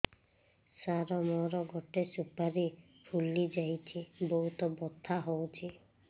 ସାର ମୋର ଗୋଟେ ସୁପାରୀ ଫୁଲିଯାଇଛି ବହୁତ ବଥା ହଉଛି